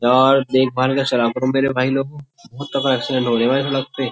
यार देखभाल का चला करो मेरे भाई लोग बहुत तगड़ा एक एक्सीडेंट रहे लग पे --